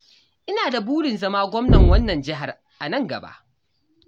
Ina da burin zama gwamnan wannan jihar a nan gaba.